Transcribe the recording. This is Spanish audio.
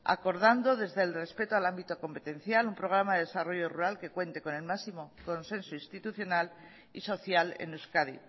acordando desde el respeto al ámbito competencial un programa de desarrollo rural que cuente con el máximo consenso institucional y social en euskadi